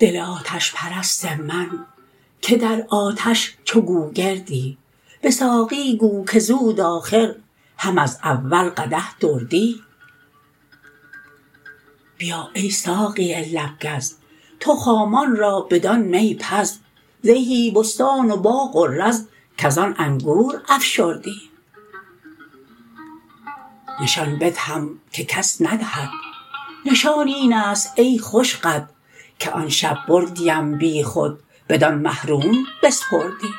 دل آتش پرست من که در آتش چو گوگردی به ساقی گو که زود آخر هم از اول قدح دردی بیا ای ساقی لب گز تو خامان را بدان می پز زهی بستان و باغ و رز کز آن انگور افشردی نشان بدهم که کس ندهد نشان این است ای خوش قد که آن شب بردیم بیخود بدان مه روم بسپردی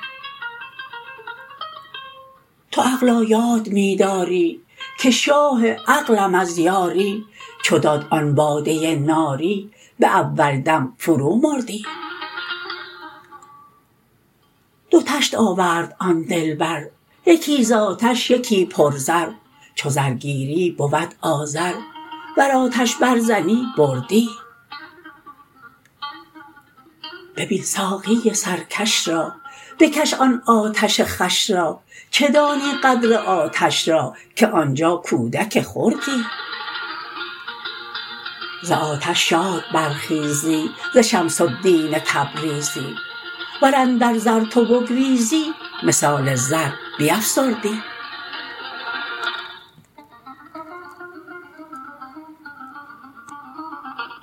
تو عقلا یاد می داری که شاه عقلم از یاری چو داد آن باده ناری به اول دم فرومردی دو طشت آورد آن دلبر یکی ز آتش یکی پرزر چو زر گیری بود آذر ور آتش برزنی بردی ببین ساقی سرکش را بکش آن آتش خوش را چه دانی قدر آتش را که آن جا کودک خردی ز آتش شاد برخیزی ز شمس الدین تبریزی ور اندر زر تو بگریزی مثال زر بیفسردی